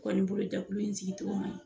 Ne kɔ nin bolo jɛkulu in sigicogo ma ɲin.